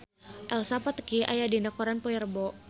Elsa Pataky aya dina koran poe Rebo